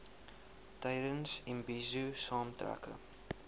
tydens imbizo saamtrekke